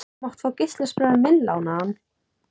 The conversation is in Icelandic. Þú mátt fá geislaspilarann minn lánaðan.